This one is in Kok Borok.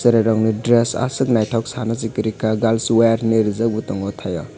burui rog ni dress asok naitok sana si koroi ka girls wear hinui rijak bo tango tai o.